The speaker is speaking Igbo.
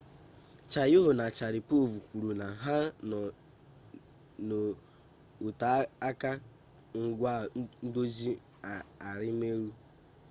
chiao na sharipov kwuru na ha nọ n'oteaka ngwa ndozi arimelu